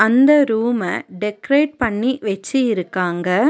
அந்த ரூம டெக்கரேட் பண்ணி வெச்சி இருக்காங்க.